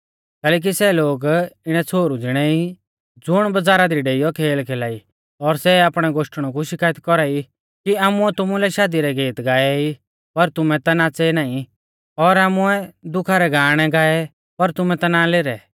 कैलैकि सै इणै छ़ोहरु ज़िणै ई ज़ुण बजारा दी डेइयौ खेल खेलाई और सै आपणै गोश्टणु कु शिकायत कौरा ई कि आमुऐ तुमुलै शादी रै गेत गाऐ ई पर तुमै ता नाच़ै नाईं और आमुऐ दुखा रै गाअणै गाऐ पर तुमै ना लेरै